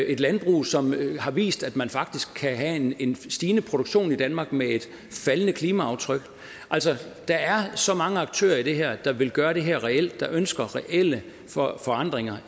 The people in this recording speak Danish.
et landbrug som har vist at man faktisk kan have en stigende produktion i danmark med et faldende klimaaftryk altså der er så mange aktører i det her der vil gøre det her reelt der ønsker reelle forandringer